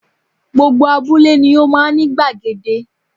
Gbogbo abúlé ni ó máa n ní gbàgede